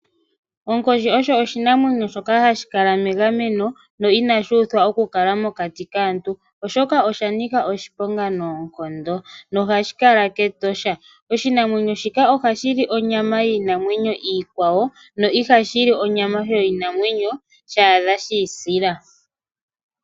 Onkoshi osho oshinamwenyo shoka hashi kala megameno no inashi uthwa okukala mokati kaantu, oshoka osha nika oshiponga noonkondo nohashi kala kEtosha. Oshinamwenyo shika ohashi li onyama yiinamwenyo iikwawo na ihashi li onyama yoshinamwenyo sha adha shi isila.